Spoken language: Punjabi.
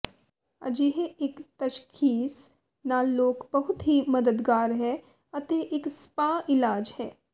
ਅਜਿਹੇ ਇੱਕ ਤਸ਼ਖ਼ੀਸ ਨਾਲ ਲੋਕ ਬਹੁਤ ਹੀ ਮਦਦਗਾਰ ਹੈ ਅਤੇ ਇੱਕ ਸਪਾ ਇਲਾਜ ਹੈ